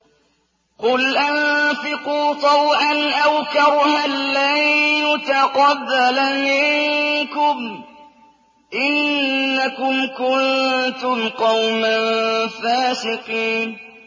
قُلْ أَنفِقُوا طَوْعًا أَوْ كَرْهًا لَّن يُتَقَبَّلَ مِنكُمْ ۖ إِنَّكُمْ كُنتُمْ قَوْمًا فَاسِقِينَ